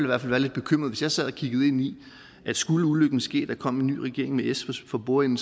være lidt bekymret hvis jeg sad og kiggede ind i det skulle ulykken ske og der kom en ny regering med s for bordenden